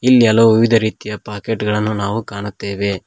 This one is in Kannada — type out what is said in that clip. ಇಲ್ಲಿ ಹಲವು ವಿವಿದ ರೀತಿಯ ಪಾಕೆಟ್ ಗಳನ್ನು ನಾವು ಕಾಣುತ್ತೇವೆ.